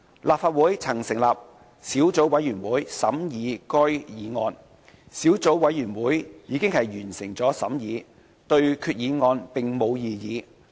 立法會曾成立小組委員會審議該項議案，小組委員會已完成審議工作，對決議案並無異議。